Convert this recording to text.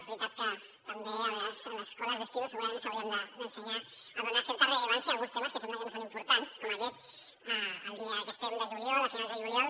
és veritat que també a vegades a les escoles d’estiu segurament ens haurien d’ensenyar a donar certa rellevància a alguns temes que sembla que no són importants com aquest al dia que estem de juliol a finals de juliol